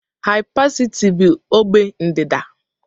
Hypercity bụ ogbe ndịda.